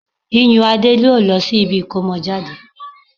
Iyùnadé yóò lọ sí ibi ìkómọjáde